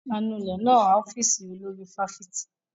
Anulẹ̀ náà ń ọ́fíìsì olórí fáfitì.